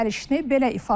Gəlişini belə ifadə etdi.